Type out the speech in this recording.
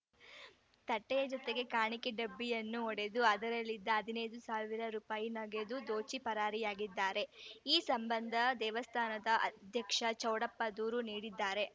ತಟ್ಟೆಯ ಜೊತೆಗೆ ಕಾಣಿಕೆ ಡಬ್ಬಿಯನ್ನು ಒಡೆದು ಅದರಲ್ಲಿದ್ದ ಹದಿನೈದು ಸಾವಿರ ರುಪಾಯಿ ನಗದು ದೋಚಿ ಪರಾರಿಯಾಗಿದ್ದಾರೆ ಈ ಸಂಬಂಧ ದೇವಸ್ಥಾನದ ಅಧ್ಯಕ್ಷ ಚೌಡಪ್ಪ ದೂರು ನೀಡಿದ್ದಾರೆ